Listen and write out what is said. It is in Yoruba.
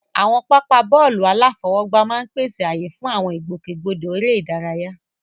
Àwọn pápá bọ́ọ̀lù aláfọwọ́gbá máa ń pèsè ààyè fún àwọn ìgbòkègbodò eré ìdárayá.